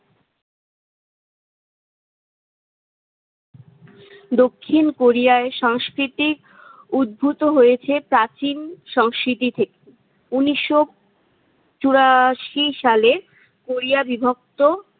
দক্ষিণ কোরিয়ায় সাংস্কৃতিক উদ্ভূত হয়েছে প্রাচীন সংস্কৃতি থেকে। উন্নিশশো চুরাশি সালে কোরিয়া বিভক্ত